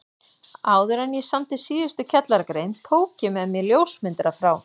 Áðuren ég samdi síðustu kjallaragrein tók ég með mér ljósmyndara frá